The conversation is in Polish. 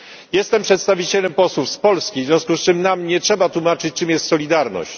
Jestem przedstawicielem posłów z Polski, w związku z czym nam nie trzeba tłumaczyć, czym jest solidarność.